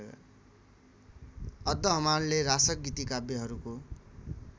अद्दहमाणले रासक गीतिकाव्यहरूको